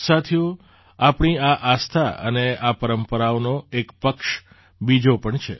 સાથીઓ આપણી આ આસ્થા અને આ પરંપરાઓનો એક પક્ષ બીજો પણ છે